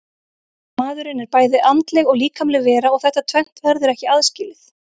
Maðurinn er bæði andleg og líkamleg vera og þetta tvennt verður ekki aðskilið.